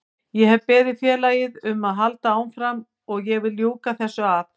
Ég hef beðið félagið um að halda áfram og ég vil ljúka þessu af.